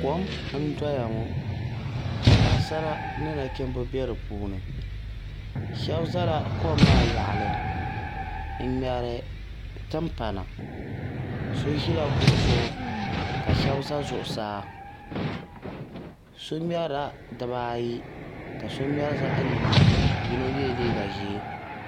Kom n doya ŋo ka paɣasari ni nachimba bɛ di puuni shab ʒɛla kom maa yaɣili n ŋmɛri timpana so ʒila kuɣu zuɣu ka shab ʒɛ zuɣusaa so ŋmɛrila dibaayi ka so ŋmɛri zaɣ yini yino yɛla liiga ʒiɛ